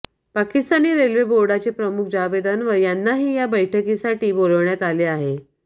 Pakistani railway बोर्डाचे प्रमुख जावेद अन्वर यांनाही या बैठकीसाठी बोलावण्यात आले आहे